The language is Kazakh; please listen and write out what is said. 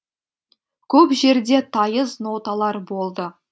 көп жерде тайыз ноталар болды